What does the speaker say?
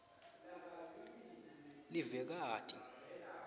livekati